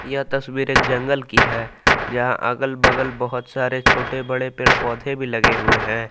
यह तस्वीर एक जंगल की है यहां अगल बगल बहुत सारे छोटे बड़े पेड़ पौधे भी लगे हुए हैं।